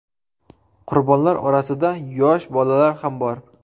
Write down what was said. Qurbonlar orasida yosh bolalar ham bor.